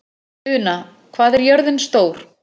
Una, hvað er jörðin stór?